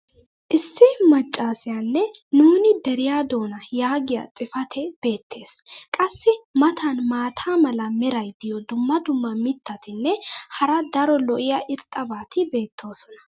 issi macaassiyaanne "nuuni deriya doona" yaagiya xifatee beetees. qassi i matan maata mala meray diyo dumma dumma mitatinne hara daro lo'iya irxxabati beetoosona.